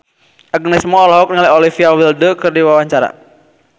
Agnes Mo olohok ningali Olivia Wilde keur diwawancara